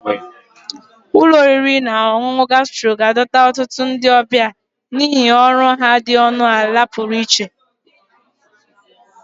Ụlọ oriri na ọṅụṅụ Gastro ga-adọta ọtụtụ ndị ọbịa n'ihi ọrụ ha dị ọnụ ala pụrụ iche